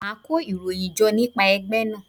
Màá kó ìròyìn jọ nípa ẹgbẹ́ náà.